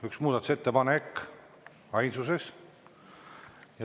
Üks muudatusettepanek, ainsuses.